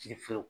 Kiri fiyewu